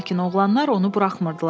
Lakin oğlanlar onu buraxmırdılar.